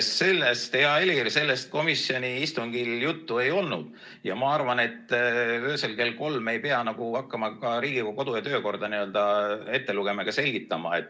Sellest, hea Helir, komisjoni istungil juttu ei olnud ja ma arvan, et öösel kell kolm ei pea hakkama ka Riigikogu kodu- ja töökorda ette lugema ega selgitama.